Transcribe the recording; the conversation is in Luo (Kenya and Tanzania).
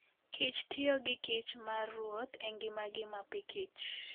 kich tiyo gi kich mar ruoth e ngimagi mapikich.